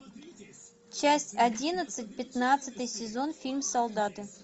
часть одиннадцать пятнадцатый сезон фильм солдаты